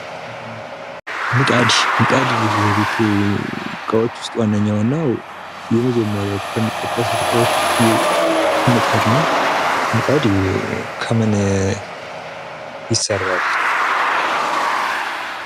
ምጣድ ፦ ምጣድ እንግዲህ ከቤት ዕቃዎች ውስጥ ዋነኛውና የመጀመሪያው የሚጠቀሱ ዕቃዎች ውስጥ ምጣድ ነው ። ምጣድ ከምን ይሰራል ?